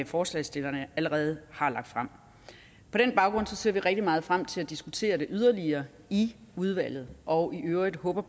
forslagsstillerne allerede har lagt frem på den baggrund ser vi rigtig meget frem til at diskutere det yderligere i udvalget og i øvrigt håber